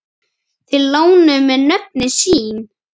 Þeir lánuðu mér nöfnin sín.